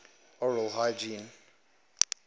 oral hygiene